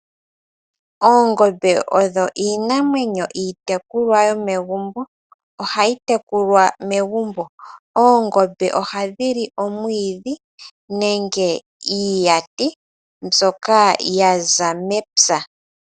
Oongombe odho iinamwenyo odho iinamwenyo iitekulwa yomegumbo. Ohayi tekulwa megumbo. Oongombe ohadhi li omwiidhi nenge iihenguti mbyoka ya za mepya.